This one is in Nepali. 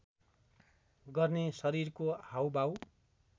गर्ने शरीरको हाउभाउ